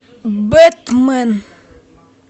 бэтмен